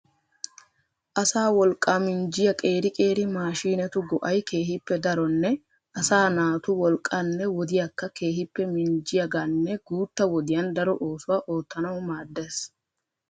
Asaa wolqqaa minjjiyaa qeeri qeeri maashinetu go"ay keehippe daronne asa naatu wolqqanne wodiyaakka keehippe minjjiyaaganne guutta wodiyaan daro oosuwaa oottanaw maaddees.